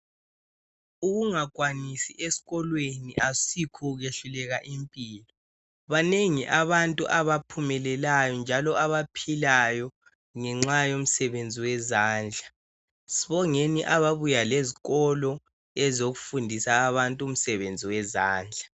Ukungakwanisi esikolweni ayikho ukwehluleka impilo banengi abantu njalo abaphilayo ngenxa uomsebenzi wezandla sibonge ababuya lezikolo ezokufundisa abantu umsebenzi wezandla